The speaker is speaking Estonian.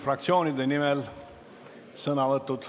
Fraktsioonide nimel on sõnavõtud.